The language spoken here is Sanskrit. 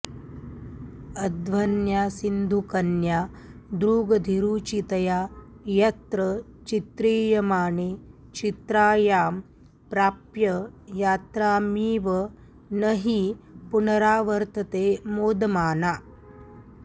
अध्वन्यासिन्धुकन्यादृगधिरुचितया यत्र चित्रीयमाणे चित्रायां प्राप्य यात्रामिव न हि पुनरावर्तते मोदमाना